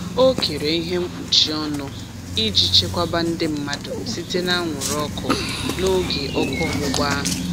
O kere ihe mkpuchi ọnụ iji chekwaba ndị mmadụ site n'anwụrụ ọkụ n'oge ọkụ ọgbụgba ahụ.